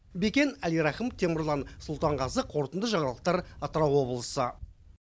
бекен әлирахым темірлан сұлтанғазы қорытынды жаңалықтар атырау облысы